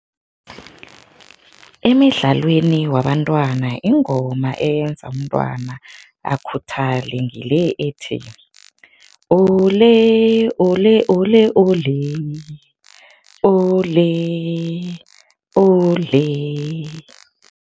Emidlalweni wabantwana ingoma eyenza umntwana akhuthalele ngile ethi, ole ole ole ole, ole, ole.